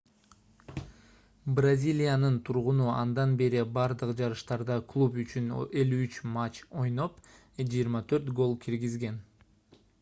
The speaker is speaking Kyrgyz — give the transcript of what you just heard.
бразилиянын тургуну андан бери бардык жарыштарда клуб үчүн 53 матч ойноп 24 гол киргизген